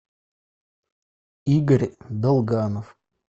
игорь долганов